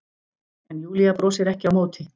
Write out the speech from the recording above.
En Júlía brosir ekki á móti.